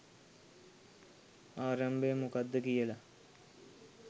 ආරම්භය මොකක්ද කියලා